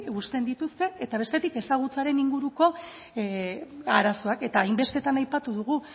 uzten dituzte eta bestetik ezagutzaren inguruko arazoak eta hainbestetan aipatu dugu